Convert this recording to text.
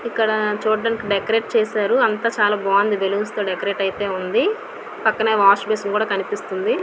ఇక్కడ చూడ్డానికి డెకరేషన్ చేశారు అంతా. చాలా బాగుంది బెలూన్ డెకరేట్ అయ్యింది. పక్కనే వాష్ బేసిన్ కూడా కనిపిస్తుంది.